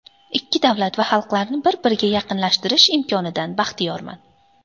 Ikki davlat va xalqlarni bir-biriga yaqinlashtirish imkonidan baxtiyorman.